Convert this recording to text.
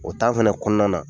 O fana kɔnɔna na